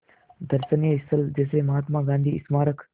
दर्शनीय स्थल जैसे महात्मा गांधी स्मारक